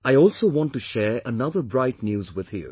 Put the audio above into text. I also want to share another bright news with you